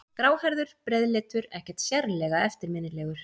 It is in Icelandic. Gráhærður, breiðleitur, ekkert sérlega eftirminnilegur.